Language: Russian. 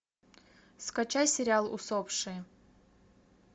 скачай сериал усопшие